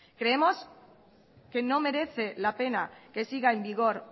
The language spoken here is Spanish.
creemos que no merece la pena que siga en vigor